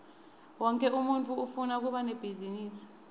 wonkhe umuntfu ufuna kuba nebhizinisi